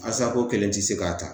Asako kelen tɛ se k'a ta